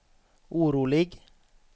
orolig